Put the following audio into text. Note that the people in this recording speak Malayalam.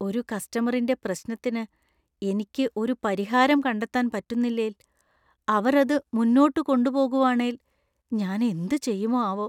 ഒരു കസ്റ്റമറിന്‍റെ പ്രശ്നത്തിന് എനിക്ക് ഒരു പരിഹാരം കണ്ടെത്താൻ പറ്റുന്നില്ലേൽ, അവർ അത് മുന്നോട്ട് കൊണ്ടുപോകുവാണേൽ ഞാൻ എന്തുചെയ്യുമോ ആവോ?